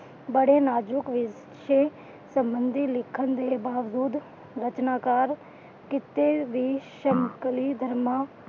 ਬੜੇ ਨਾਜ਼ੁਕ ਵਿਸ਼ੇ ਸਬੰਧੀ ਲਿਖਣ ਦੇ ਬਾਵਜੂਦ ਰਚਨਾਕਾਰ ਕਿਤੇ ਵੀ ਧਰਮਾਂ